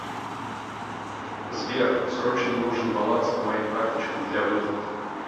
сбер срочно нужен баланс по моим карточкам для выплат